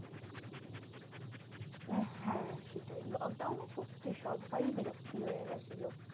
হ্যাঁ সেটাই lockdown এ সত্যি সব্বাই বিরক্তি হয়ে গেছিলো।